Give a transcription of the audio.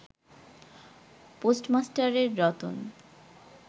পোস্টমাস্টারের Ratan